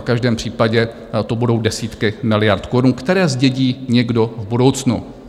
V každém případě to budou desítky miliard korun, které zdědí někdo v budoucnu.